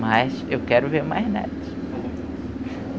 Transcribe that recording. Mas eu quero ver mais netos.